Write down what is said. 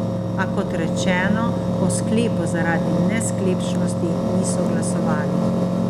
A kot rečeno, o sklepu zaradi nesklepčnosti niso glasovali.